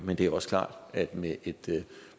men det er også klart at med et